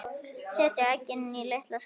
Setjið eggin í litla skál.